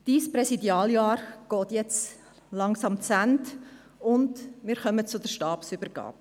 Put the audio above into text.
Ihr Präsidialjahr geht jetzt langsam zu Ende, und wir kommen zur Stabübergabe.